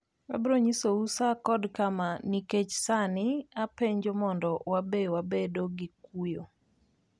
Abiro nyisou saa kod kama, nikech sani apenjo mondo WABE WABEDO GI KUYO!"